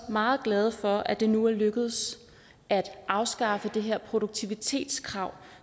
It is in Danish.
meget glade for at det nu er lykkedes at afskaffe det her produktivitetskrav